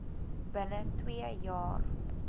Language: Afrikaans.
binne twee jaar